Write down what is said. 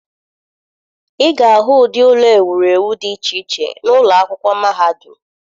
Ị ga-ahụ ụdị ụlọ ewurewu dị iche iche n'ụlọ akwụkwọ mahadum.